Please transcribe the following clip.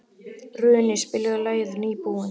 Runi, spilaðu lagið „Nýbúinn“.